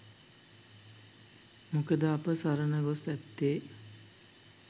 මොකද අප සරණගොස් ඇත්තේ